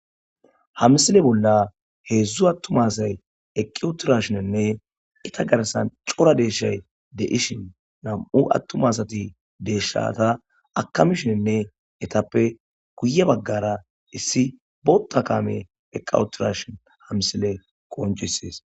hamsile bolla heedzdzu attumasay eqqiwutirashinenne ita garsan cora deeshay de ishin nam7u attumasati deeshshata akamishenne etappe kuye baggara issi boota kame eqqawutirashin hamsile qoncisees